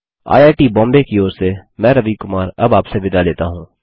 IIT Bombay की ओर से मैं रवि कुमार अब आपसे विदा लेता हूँ